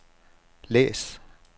læs